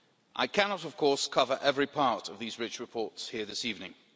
I cannot, of course, cover every part of these rich reports here this evening.